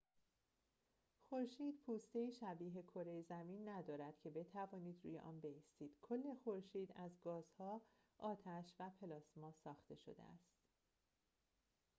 خورشید پوسته‌ای شبیه کره زمین ندارد که بتوانید روی آن بایستید کل خورشید از گازها آتش و پلاسما ساخته شده است